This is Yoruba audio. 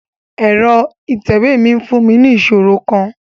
Ẹrọ itẹwe mi n fun mi ni iṣoro kan